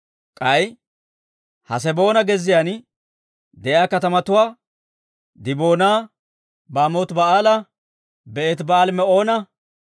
K'ay Haseboona, gezziyaan de'iyaa katamatuwaa, Diboona, Baamooti-Ba'aala, Beetiba'aali-Me'oona,